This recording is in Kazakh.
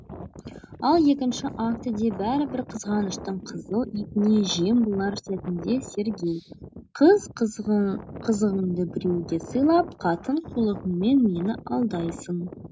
ал екінші актіде бәрібір қызғаныштың қызыл итіне жем болар сәтінде сергей қыз қызығыңды біреуге сыйлап қатын қулығыңмен мені алдайсың